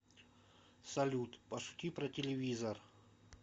салют пошути про телевизор